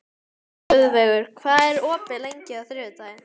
Guðveigur, hvað er opið lengi á þriðjudaginn?